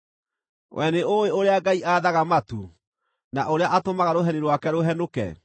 Wee nĩũũĩ ũrĩa Ngai aathaga matu, na ũrĩa atũmaga rũheni rwake rũhenũke?